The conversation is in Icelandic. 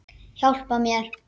Hjálpa mér!